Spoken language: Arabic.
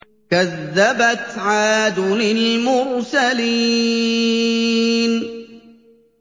كَذَّبَتْ عَادٌ الْمُرْسَلِينَ